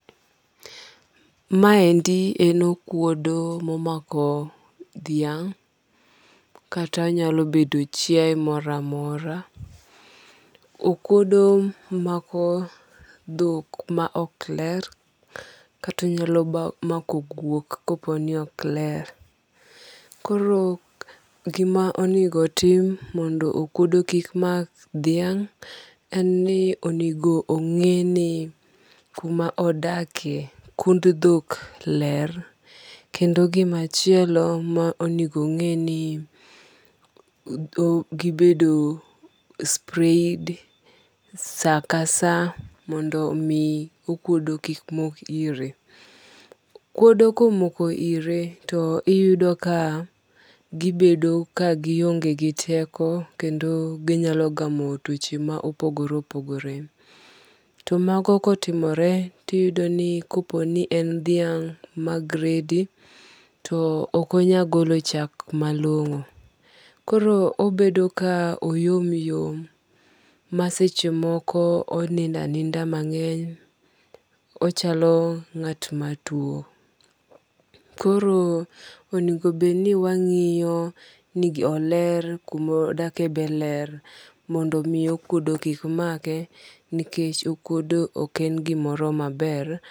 Ma endi en okuodo momako dhiang' kata nyalo bedo chiae moro amora. Okuodo mako dhok ma ok ler kata nyalo mako guok kopo ni ok ler. Koro gima onego tim mondo okuodo kik mak dhiang' en ni onego ong'e ni kuma odakie kund dhok ler. Kendo gima chielo monego ong'e ni gibedo sprayed sa ka sa mondo mi okuodo kik mok ire. Okuodo komoko ire to iyudo ka gibedo ka gionge gi teko kendo ginyalo gamo tuoche ma opogore opogore. To mago kotimore tiyudo ni kopo ni en dhiang' ma gradi to on onyal golo chak malongo. Koro obedo ka oyom yom ma seche moko onindo aninda mang'eny, onyalo ngat matuo. Koro onego bed ni wangiyo ni oler kumodakjie be ler mondo mi okuodo kik make nikech okuodo ok en gimoro maber.